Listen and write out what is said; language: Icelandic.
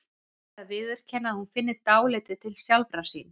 Og verði að viðurkenna að hún finni dálítið til sjálfrar sín.